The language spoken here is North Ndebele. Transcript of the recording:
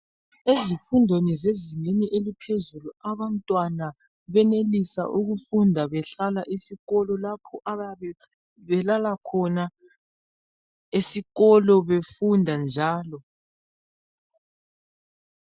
Ezifundweni zezingeni eliphezulu abantwana benelisa ukufunda behlala esikolo lapho abayabe belala khona esikolo befunda njalo.